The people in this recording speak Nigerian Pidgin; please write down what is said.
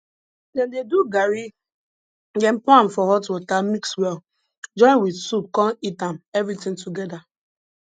dem dey do garri dem pour am for hot water mix well join with soup con eat am everything together